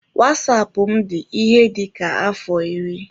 Wasapụ m dị ihe dịka afọ iri.